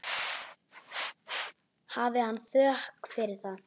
Hafi hann þökk fyrir það.